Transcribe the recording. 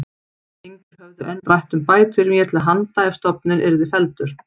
Engir höfðu enn rætt um bætur mér til handa ef stofninn yrði felldur.